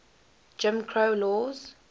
jim crow laws